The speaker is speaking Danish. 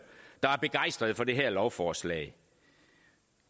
der er begejstrede for det her lovforslag